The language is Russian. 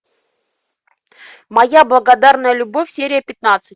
моя благодарная любовь серия пятнадцать